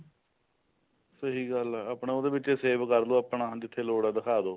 ਸਹੀ ਗੱਲ ਐ ਆਪਣਾ ਉਹਦੇ ਵਿੱਚ save ਕਰਲੋ ਆਪਣਾ ਜਿੱਥੇ ਲੋੜ ਐ ਦਿਖਾਦੋ